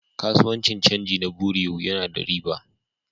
Kasuwancin canji na bureau yana da riba.